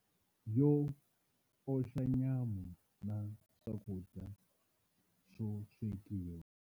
Yo oxa nyama na swakudya swo swekiwa.